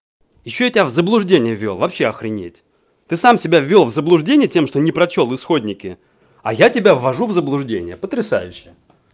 ещё я тебя в заблуждение ввёл вообще охренеть ты сам тебя ввёл в заблуждение тем что не прочёл исходники а я тебя ввожу в заблуждение потрясающе